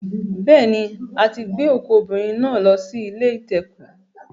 Beeni a ti gbe oku obinrin na lo si ile ite-oku